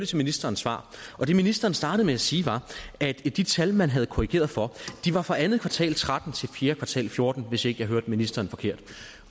til ministerens svar og det ministeren startede med at sige var at de tal man havde korrigeret for var fra andet kvartal og tretten til fjerde kvartal og fjorten hvis ikke jeg hørte ministeren forkert